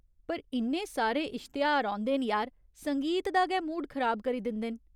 पर इन्ने सारे इश्तेहार औंदे न यार, संगीत दा गै मूड खराब करी दिंदे न .